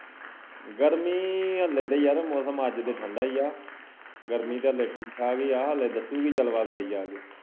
ਗਰਮੀ ਹਲੇ ਤੇ ਯਾਰ ਮੌਸਮ ਅੱਜ ਤੇ ਠੰਡਾ ਈ ਆ ਗਰਮੀ ਤੇ ਹਲੇ ਠੀਕ ਠਾਕ ਈ ਆ ਹਲੇ ਦੱਸੂਗੀ ਜਲਵਾ ਗਾੜੀ ਜਾ ਕੇ